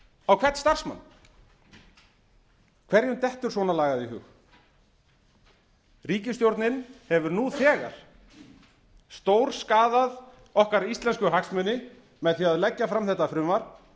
á hvern starfsmann hverjum dettur svona lagað í hug ríkisstjórnin hefur nú þegar stórskaðað okkar íslensku hagsmuni með því að leggja fram þetta frumvarp